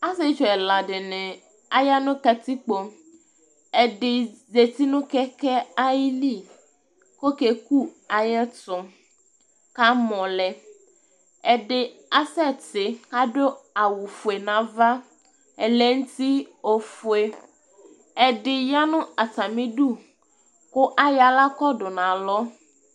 Asiétchu ɛla dini aya nu katikpo Ɛdi zéti nu kɛkɛ ayili, ɔkéku ayɛtu kamɔlɛ Ɛdi asɛti, adu awu fué nava, ɛlɛŋti ọfué, ɛdi yanu atamidu ku ayɔ aɣla kadu na lɔ